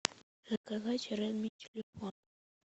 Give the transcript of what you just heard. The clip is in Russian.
заказать редми телефон